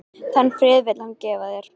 Þann frið vill hann gefa þér.